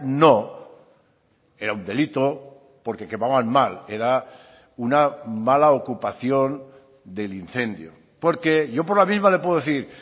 no era un delito porque quemaban mal era una mala ocupación del incendio porque yo por la misma le puedo decir